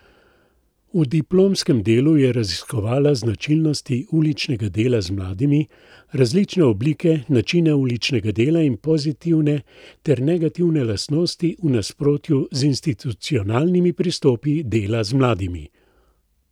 V diplomskem delu je raziskovala značilnosti uličnega dela z mladimi, različne oblike, načine uličnega dela in pozitivne ter negativne lastnosti v nasprotju z institucionalnimi pristopi dela z mladimi.